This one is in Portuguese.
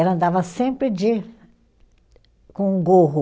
Ela andava sempre de com um gorro,